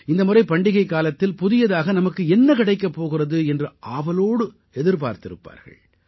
இந்த முறை பண்டிகைக் காலத்தில் புதியதாக நமக்கு என்ன கிடைக்கப் போகிறது என்று ஆவலோடு எதிர்பார்த்திருப்பார்கள்